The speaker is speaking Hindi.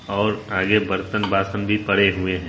और आगे बर्तन बासन भी पड़े हुए है।